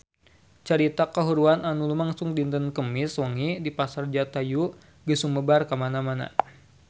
Carita kahuruan anu lumangsung dinten Kemis wengi di Pasar Jatayu geus sumebar kamana-mana